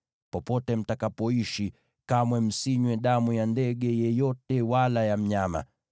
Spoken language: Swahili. Popote mtakapoishi, kamwe msinywe damu ya ndege yeyote wala ya mnyama.